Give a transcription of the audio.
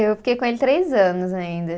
Eu fiquei com ele três anos ainda.